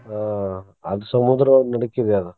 ಹ್ಮ್ ಅದ ಸಮುದ್ರ ನಡಕ್ಕಿದೆ ಅದ.